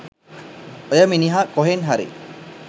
ඔය මිනිහා කොහෙන් හරි